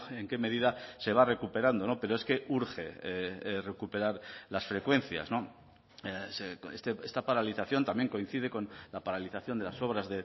en qué medida se va recuperando pero es que urge recuperar las frecuencias esta paralización también coincide con la paralización de las obras